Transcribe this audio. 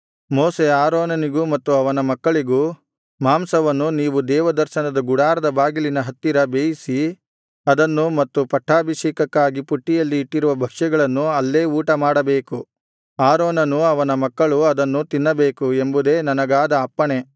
ಮೋಶೆ ಆರೋನನಿಗೂ ಮತ್ತು ಅವನ ಮಕ್ಕಳಿಗೂ ಮಾಂಸವನ್ನು ನೀವು ದೇವದರ್ಶನದ ಗುಡಾರದ ಬಾಗಿಲಿನ ಹತ್ತಿರ ಬೇಯಿಸಿ ಅದನ್ನು ಮತ್ತು ಪಟ್ಟಾಭಿಷೇಕಕ್ಕಾಗಿ ಪುಟ್ಟಿಯಲ್ಲಿ ಇಟ್ಟಿರುವ ಭಕ್ಷ್ಯಗಳನ್ನು ಅಲ್ಲೇ ಊಟಮಾಡಬೇಕು ಆರೋನನೂ ಅವನ ಮಕ್ಕಳೂ ಅದನ್ನು ತಿನ್ನಬೇಕು ಎಂಬುದೇ ನನಗಾದ ಅಪ್ಪಣೆ